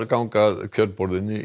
ganga að kjörborðinu